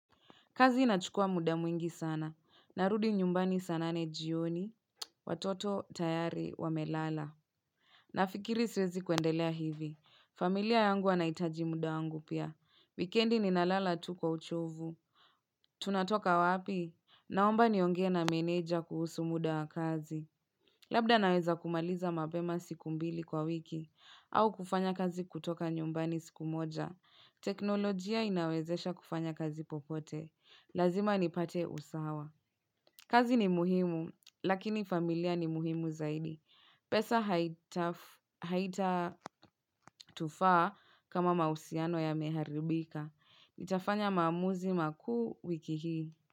Kazi inachukua muda mwingi sana. Narudi nyumbani saa nane jioni. Watoto tayari wamelala. Nafikiri siwezi kuendelea hivi. Familia yangu anahitaji muda wangu pia. Vikendi ninalala tu kwa uchovu. Tunatoka wapi? Naomba niongee na meneja kuhusu muda wa kazi. Labda naweza kumaliza mapema siku mbili kwa wiki. Au kufanya kazi kutoka nyumbani siku moja. Teknolojia inawezesha kufanya kazi popote Lazima nipate usawa kazi ni muhimu, lakini familia ni muhimu zaidi pesa haita tufaa kama mahusiano yameharibika ntafanya maamuzi makuu wiki hii.